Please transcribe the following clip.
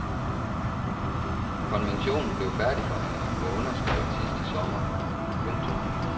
Konventionen blev færdigforhandlet og underskrevet sidste sommer. punktum